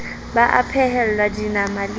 ba a phehelwa dinama le